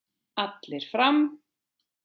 Allir fram!